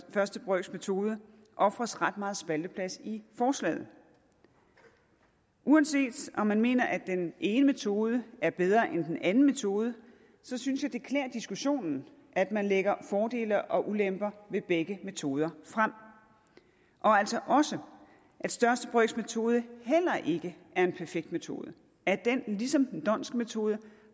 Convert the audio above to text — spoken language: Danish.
brøks metode ofres ret meget spalteplads i forslaget uanset om man mener at den ene metode er bedre end den anden metode så synes jeg det klæder diskussionen at man lægger fordele og ulemper ved begge metoder frem og altså også at største brøks metode heller ikke er en perfekt metode at den ligesom den dhondtske metode